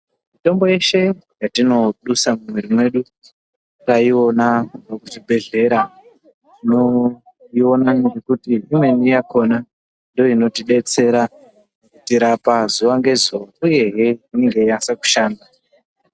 Mitombo yeshe yatinodusa mumwiri yedu taiona kuchibhedhlera tinoiona nekuti imweni yakona ndoo inotidetsera kutirapa zuwa ngezuwa uyehe inenge yeinyasa kushanda .